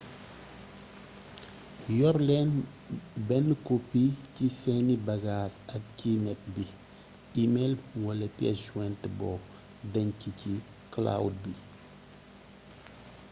yor leen benn copie ci seeni bagage ak ci net bi e-mail wala piece jointe boo denc ci cloud bi